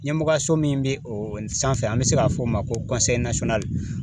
Ɲɛmɔgɔyaso min bɛ o sanfɛ an bɛ se k'a fɔ o ma ko